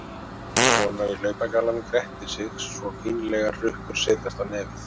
Konan í hlaupagallanum grettir sig svo fínlegar hrukkur setjast á nefið.